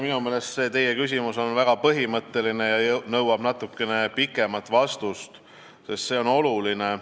Minu meelest on see küsimus väga põhimõtteline ja nõuab pikemat vastust, sest see on oluline.